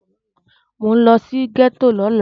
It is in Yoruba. Mò ń lọ sí gẹ́tò lọ́la.